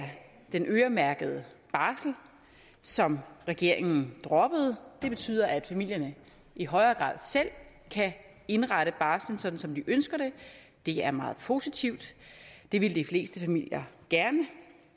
den øremærkede barsel som regeringen droppede det betyder at familierne i højere grad selv kan indrette barslen sådan som de ønsker det det er meget positivt det vil de fleste familier gerne